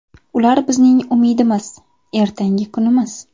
Ular bizning umidimiz, ertangi kunimiz.